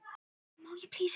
ef. tölvu